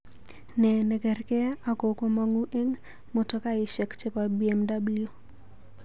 Ne nekerkei ako komongu eng motokaishek chebo B.M.W